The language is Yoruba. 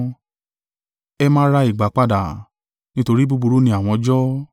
ẹ máa ra ìgbà padà, nítorí búburú ní àwọn ọjọ́.